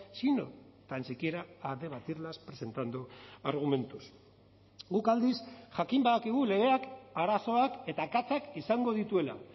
sino tan siquiera a debatirlas presentando argumentos guk aldiz jakin badakigu legeak arazoak eta akatsak izango dituela